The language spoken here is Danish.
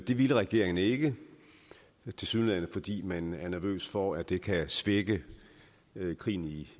det ville regeringen ikke tilsyneladende fordi man er nervøs for at det kan svække krigen i